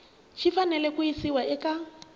xi fanele ku yisiwa eka